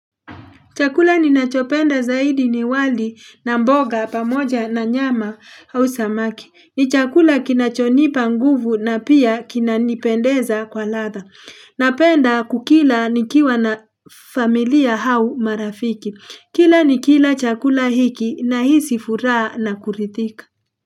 Chakula ni nachopenda zaidi ni wali na mboga pamoja na nyama au samaki. Ni chakula kinachonipa nguvu na pia kinanipendeza kwa latha. Napenda kukila ni kiwa na familia au marafiki. Kila ni kila chakula hiki na hisi furaha na kurithika.